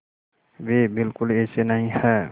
वे बिल्कुल ऐसे नहीं हैं